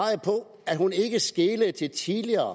at hun ikke skelede til tidligere